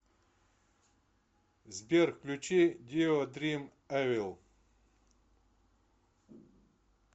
сбер включи дио дрим эвил